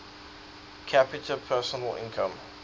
capita personal income